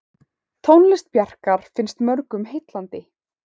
Tónlist Bjarkar finnst mörgum heillandi.